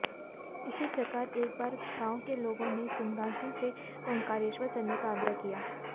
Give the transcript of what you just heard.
इसी प्रकार एक बार गांव के लोगों ने सिंगाजी से ओंकारेश्वर चलने का आग्रह किया